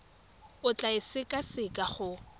o tla e sekaseka go